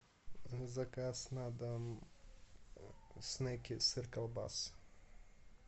заказ на дом снеки сырколбас